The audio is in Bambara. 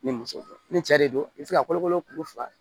Ni muso ni cɛ de don i be se ka kolokolo kuru fa